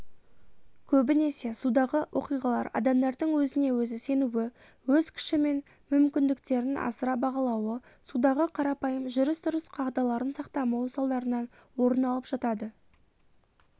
көбінесе судағы оқиғалар адамдардың өзіне-өзі сенуі өз күші мен мүмкіндіктерін асыра бағалауы судағы қарапайым жүріс-тұрыс қағдаларын сақтамауы салдарынан орын алып жатады